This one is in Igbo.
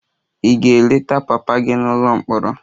Ị ga-eleta papa gị n'ụlọ mkpọrọ?